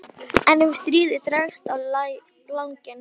En ef stríðið dregst á langinn?